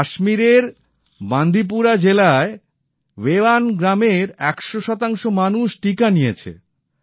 কাশ্মীরের বান্দিপোরা জেলায় বেয়ান ভেয়ান গ্রামের ১০০ মানুষ টিকা নিয়েছে